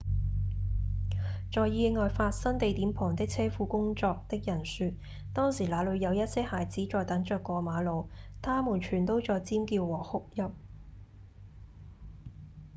在意外發生地點旁的車庫工作的人說：「當時那裡有一些孩子在等著過馬路他們全都在尖叫和哭泣」